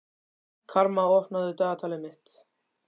Karma, opnaðu dagatalið mitt.